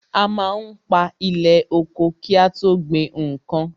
A má ń pa ilẹ̀ oko ki a tó gbin nnkan.